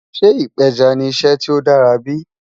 Sẹ́ ìpẹjá ni ìṣẹ́ tí ó dàra bí?